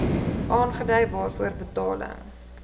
aangedui waarvoor betaling